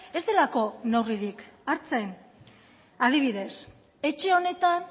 ez delako neurririk hartzen adibidez etxe honetan